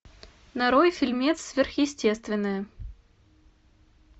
нарой фильмец сверхъестественное